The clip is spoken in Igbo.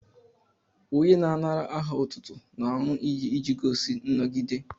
Onye na-anara aha otútú n'aṅu iyi iji gosi nnọgide